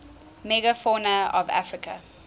megafauna of africa